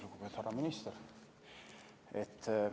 Lugupeetud härra minister!